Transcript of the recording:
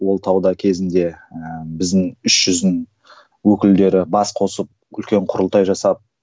ол тауда кезінде ііі біздің үш жүздің өкілдері бас қосып үлкен құрылтай жасап